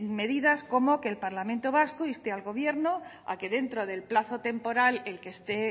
medidas como que el parlamento vasco inste al gobierno a que dentro del plazo temporal el que esté